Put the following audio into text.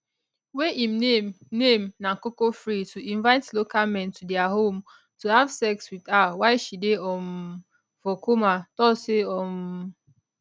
wey im name name na cocofr to invite local men to dia home to have sex wit her while she dey um for comatose um